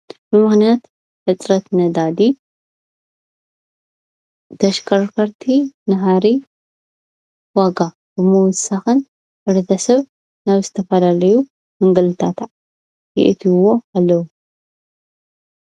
ብምኽንያት ብርሰት ነዳዲ ተሽከርከርቲ ንካሊእ ዋጋ ንምውሳክን ሕ/ሰብ ናብ ዝተፋለለዩ ምግልታዕ የእትውዎ ኣለው።